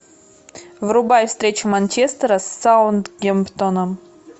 врубай встречу манчестера с саутгемптоном